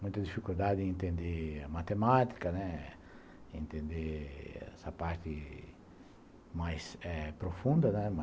Muita dificuldade em entender matemática, né, entender essa parte mais profunda.